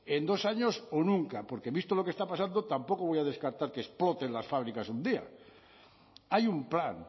en dos años o nunca porque visto lo que está pasando tampoco voy a descartar que exploten las fábricas un día hay un plan